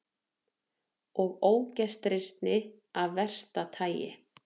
Og ógestrisni af versta tagi.